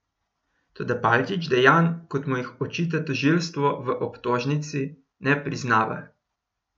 Toda Palčič dejanj, kot mu jih očita tožilstvo v obtožnici, ne priznava.